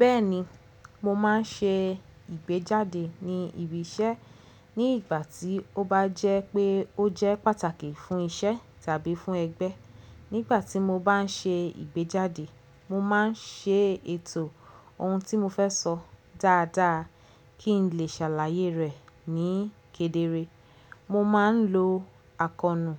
Bẹ́ẹ̀ni, mo máa ń ṣe ìgbéjáde ní ibi iṣẹ́ ní ìgbà tí ó bá jẹ́ pé ó jẹ́ pàtàkì fún iṣẹ́ tàbí fún ẹgbẹ́. Nígbà tí mo bá ń ṣe ìgbéjáde, mo máa ń ṣètò ohun tí mo fẹ́ sọ dáadáa kí n lè ṣàlàyé rẹ̀ ní kedere. Mo má ń lo àkóónú